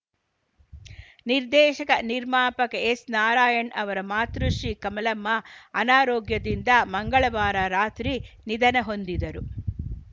ನಿರ್ದೇಶಕ ನಿರ್ಮಾಪಕ ಎಸ್‌ ನಾರಾಯಣ್‌ ಅವರ ಮಾತೃಶ್ರೀ ಕಮಲಮ್ಮ ಅನಾರೋಗ್ಯದಿಂದ ಮಂಗಳವಾರ ರಾತ್ರಿ ನಿಧನ ಹೊಂದಿದರು